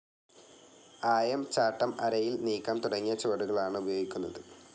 ആയം ചാട്ടം, അരയിൽ നീക്കം തുടങ്ങിയ ചുവടുകളാണ് ഉപയോഗിക്കുന്നത്.